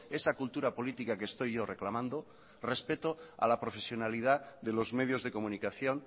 esa cultura política que estoy yo reclamando respeto a la profesionalidad de los medios de comunicación